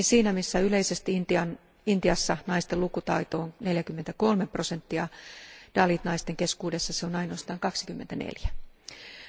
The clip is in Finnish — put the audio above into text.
Lisäksi yleisesti Intiassa naisten lukutaito on 43 prosenttia, dalit naisten keskuudessa se on ainoastaan 24 prosenttia.